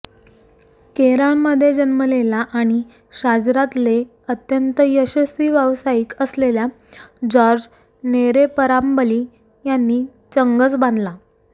केरळमध्ये जन्मलेला आणि शाजरातले अत्यंत यशस्वी व्यावसायिक असलेल्या जॉर्ज नेरेपरांबली यांनी चंगच बांधला